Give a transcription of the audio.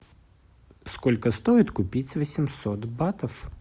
сколько стоит купить восемьсот батов